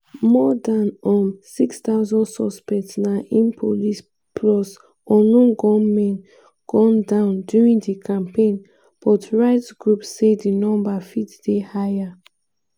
more dan um 6000 suspects na im police plus unknown gunmen gun down during di campaign but rights groups say di number fit dey higher.